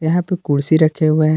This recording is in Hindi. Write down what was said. यहां पे कुर्सी रखे हुए हैं।